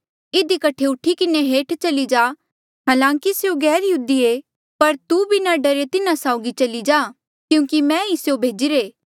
इधी कठे उठी किन्हें हेठ चली जा हालांकि स्यों गैरयहूदी ये पर तू बिना डरे तिन्हा साउगी चली जा क्यूंकि मैं ई स्यों भेजिरे